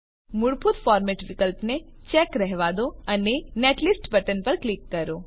મૂળભૂત ફોર્મેટ વિકલ્પને ચેક રહેવા દો અને નેટલિસ્ટ બટન પર ક્લિક કરો